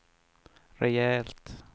rejält